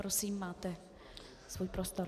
Prosím, máte svůj prostor.